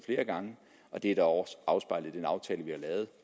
flere gange det er da også afspejlet i den aftale vi har lavet